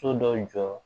So dɔw jɔ